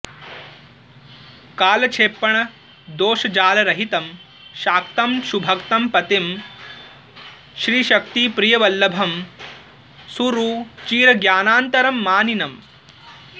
कालक्षेपण दोषजालरहितं शाक्तं सुभक्तं पतिं श्रीशक्तिप्रियवल्लभं सुरुचिरज्ञानान्तरं मानिनम्